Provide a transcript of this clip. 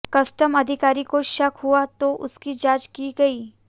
custom अधिकारी को शक हुआ तो उसकी जांच की गई